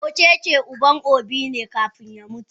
Okeke uban obi ne kafun ya mutu.